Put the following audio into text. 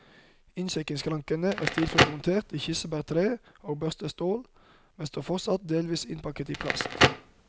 Innsjekkingsskrankene er stilfullt montert i kirsebærtre og børstet stål, men står fortsatt delvis innpakket i plast.